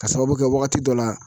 Ka sababu kɛ wagati dɔ la